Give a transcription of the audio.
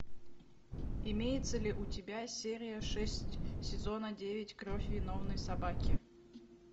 имеется ли у тебя серия шесть сезона девять кровь виновной собаки